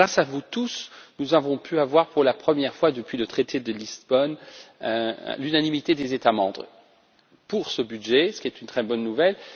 Grâce à vous tous, nous avons pu obtenir, pour la première fois depuis le traité de Lisbonne, l'unanimité des États membres concernant ce budget, ce qui est une très bonne nouvelle.